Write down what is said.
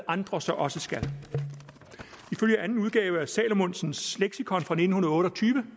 andre så også skal ifølge anden udgave af salmonsens leksikon fra nitten otte og tyve